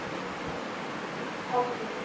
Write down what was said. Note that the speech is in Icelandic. Móðir hennar er líka í haldi